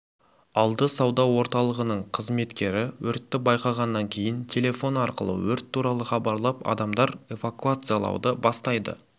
алды сауда орталығының қызметкері өртті байқағаннан кейін телефоны арқылы өрт туралы хабарлап адамдар эвакуациялауды бастайды